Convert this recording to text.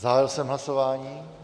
Zahájil jsem hlasování.